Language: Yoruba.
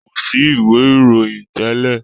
Kọ sí ìwé ìròyìn tẹlẹ.